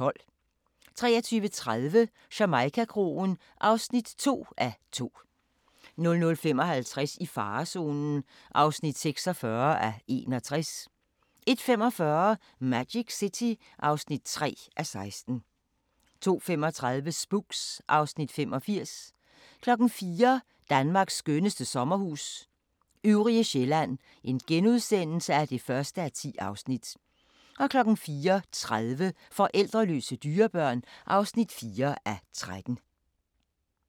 23:30: Jamaica-kroen (2:2) 00:55: I farezonen (46:61) 01:45: Magic City (3:16) 02:35: Spooks (Afs. 85) 04:00: Danmarks skønneste sommerhus – Øvrige Sjællland (1:10)* 04:30: Forældreløse dyrebørn (4:13)